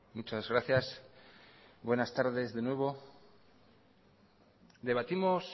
muchas gracias buenas tardes de nuevo debatimos